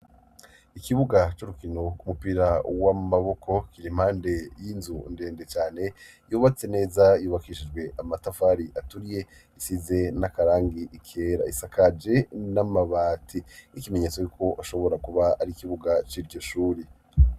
Ikibuga c'urukino kumupira w'amaboko kir'impande y'inzu ndende cane, yubatse neza, yubakishijwe amatafari aturiye, isize n'akarangi kera, isakaje n'amabati y'ikimenyetso c'uko ashobora kuba ari ikibuga c'iryo shuri.